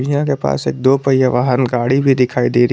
यहां के पास एक दो पहिया वाहन गाड़ी भी दिखाई दे रही--